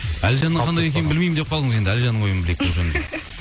әлжанның қандай екенін білмеймін деп қалдыңыз енді әлжанның ойын білейік